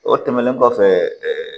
O tɛmɛnen kɔfɛ